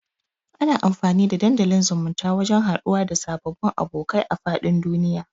Ana amfani da dandalin zumunta wajan haduwa da sababbun abokai a fadin duniya